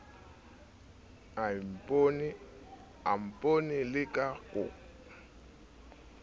a mpone ke le koko